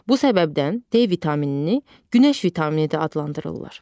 Bu səbəbdən D vitaminini günəş vitamini də adlandırırlar.